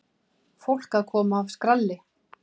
Fólk að koma af skralli.